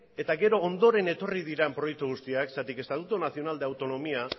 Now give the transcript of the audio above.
eta gero ondoren etorri diren proiektu guztiak zergatik estatuto nacional de autonomía